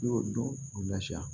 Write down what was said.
I y'o dɔn k'o lafiya